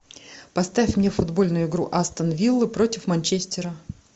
поставь мне футбольную игру астон виллы против манчестера